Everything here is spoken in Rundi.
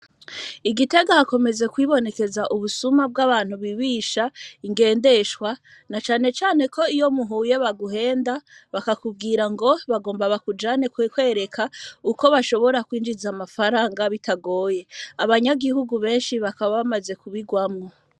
I Gitega hakomeje kwibonekeza ubusuma, bw'abantu bibisha ingendeshwa, na cane cane ko iyo muhuye baguhenda, bakakubwira ngo bagomba bakujane kukwereka uko bashobora kwinjiza amafaranga bitagoye, abanyagihugu benshi bakaba bamaze kubigwamwo.